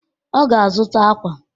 Ọ ga-azụta akwa.